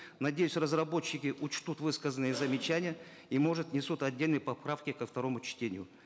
надеюсь разработчики учтут высказанные замечания и может внесут отдельные поправки ко второму чтению